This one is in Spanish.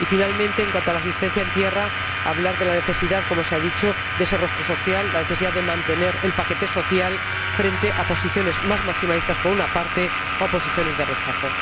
Y, finalmente, en cuanto a la asistencia en tierra, querría hablar de la necesidad, como se ha dicho, de ese rostro social, de la necesidad de mantener el paquete social frente a posiciones más maximalistas o a posiciones de rechazo.